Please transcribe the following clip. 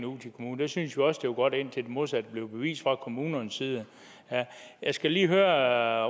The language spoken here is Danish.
ud til kommunen syntes vi også det var godt indtil det modsatte blev bevist fra kommunernes side jeg skal lige høre